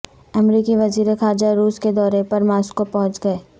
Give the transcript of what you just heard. امریکی وزیر خارجہ روس کے دورے پر ماسکو پہنچ گئے